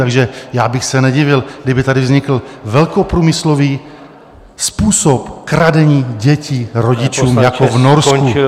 Takže já bych se nedivil, kdyby tady vznikl velkoprůmyslový způsob kradení dětí rodičům jako v Norsku.